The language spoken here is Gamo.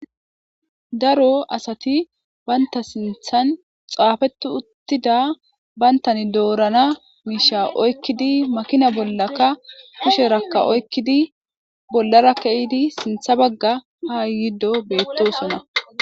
Daro asati banta sinththan xaafetti uttida bantan doorana miishsha oykidi makina bollaka kusheraka oykkidi bollara ke'idi sinththa bagga ha yuuyidi bettoosona.